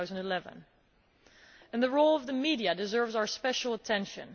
2011. The role of the media deserves our special attention.